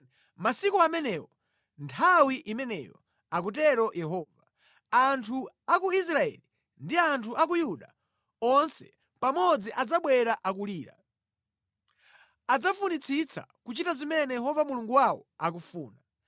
“Masiku amenewo, nthawi imeneyo,” akutero Yehova, “anthu a ku Israeli ndi anthu a ku Yuda onse pamodzi adzabwera akulira. Adzafunitsitsa kuchita zimene Yehova Mulungu wawo akufuna.